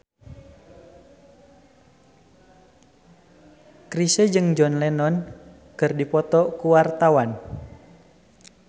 Chrisye jeung John Lennon keur dipoto ku wartawan